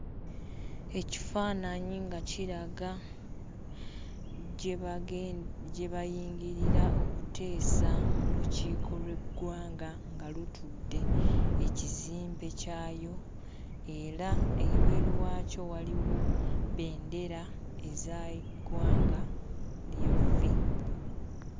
Ekifaananyi nga kiraga gye bage gye bayingirira okuteesa mu lukiiko lw'eggwanga nga lutudde ekizimbe kyayo era ebweru waakyo waliwo bbendera eza ggwanga lyaffe.